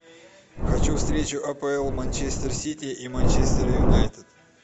хочу встречу апл манчестер сити и манчестер юнайтед